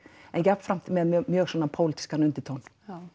en jafnframt með mjög pólítískan undirtón